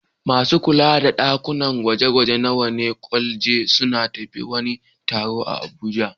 Masu kula da ɗakunan gwaje-gwaje na wata kwaleji sun tafi wani taro a Abuja.